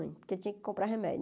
Porque eu tinha que comprar remédio.